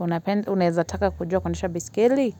unapenda, unaweza taka kujua kuendesha baiskeli?